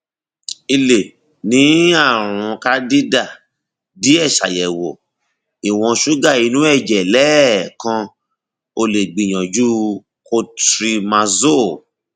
i lè ní ààrùn candida díẹ ṣàyẹwò ìwọn ṣúgà inú ẹjẹ lẹẹkan o lè gbìyànjú cotrimazole